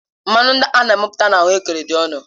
Mmanụ ndị a na-amịpụta na ahuekere dị ọnụ